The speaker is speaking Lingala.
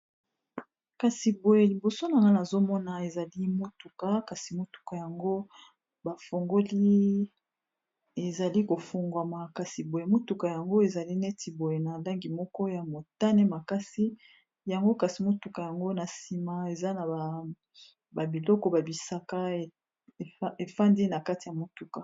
Kasi boye liboso na nga nazomona ezali motuka, kasi motuka yango bafongoli ezali kofungwa makasi boye, motuka yango ezali neti boye na langi moko ya motane makasi, yango kasi motuka yango na sima eza na babiloko ba bisaka efandi na kati ya motuka.